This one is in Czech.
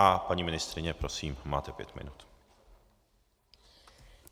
A paní ministryně, prosím, máte pět minut.